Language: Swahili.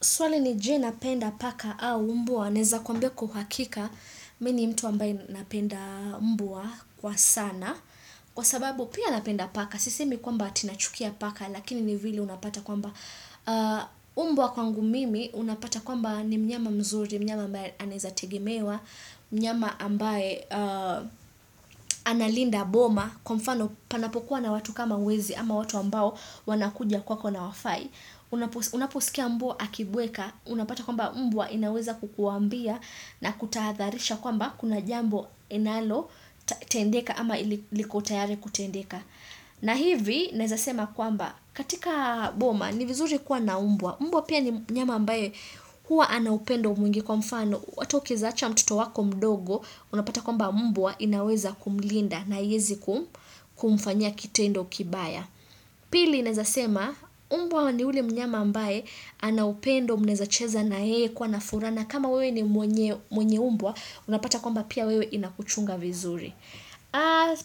Swali ni je napenda paka au mbwa. Naeza kuambia kwa uhakika. Mi ni mtu ambaye napenda mbwa kwa sana. Kwa sababu pia napenda paka. Sisemi kwamba ati nachukia paka. Lakini ni vile unapata kwamba mbwa kwangu mimi. Unapata kwamba ni mnyama mzuri. Mnyama ambaye anaeza tegemewa. Mnyama ambaye analinda boma. Kwa mfano panapokuwa na watu kama wezi. Ama watu ambao wanakuja kwako na hawafai. Unaposikia mbwa akibweka. Unapata kwamba mbwa inaweza kukuambia na kutahadharisha kwamba kuna jambo inalo tendeka ama liko tayari kutendeka. Na hivi naeza sema kwamba katika boma ni vizuri kuwa na mbwa. Mbwa pia ni mnyama ambaye huwa ana upendo mwingi kwa mfano. Ata ukieza acha mtoto wako mdogo unapata kwamba mbwa inaweza kumlinda na haiezi kumfanyia kitendo kibaya. Pili naeza sema, mbwa ni ule mnyama ambae, ana upendo mnaeza cheza na yeye kuwa na furaha na, kama wewe ni mwenye mbwa, unapata kwamba pia wewe inakuchunga vizuri.